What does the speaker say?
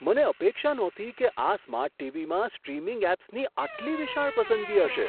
મને અપેક્ષા નહોતી કે આ સ્માર્ટ ટીવીમાં સ્ટ્રીમિંગ એપ્સની આટલી વિશાળ પસંદગી હશે!